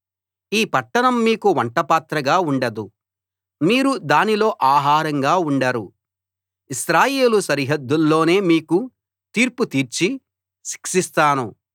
ఈ పట్టణం మీకు వంటపాత్రగా ఉండదు మీరు దానిలో ఆహారంగా ఉండరు ఇశ్రాయేలు సరిహద్దుల్లోనే మీకు తీర్పు తీర్చి శిక్షిస్తాను